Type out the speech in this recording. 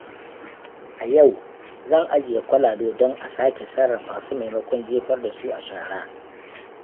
A yau, zan ajiye kwalabe don a sake sarrafa su maimakon jefar da su a shara.